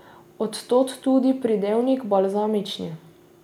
Od tod tudi pridevnik balzamični.